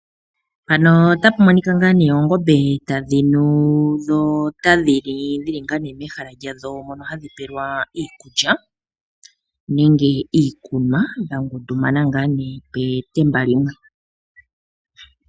Mpano otapumonika nga nee oongombe tadhinu dho otadhili, dhili nga nee mehala lyadho mono hadhi pelwa iikulya, nenge iikunwa, dhangundu mana ngaa nee petemba lyimwe.